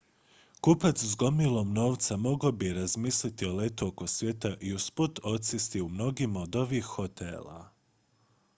kupac s gomilom novca mogao bi razmisliti o letu oko svijeta i usput odsjesti u mnogima od ovih hotela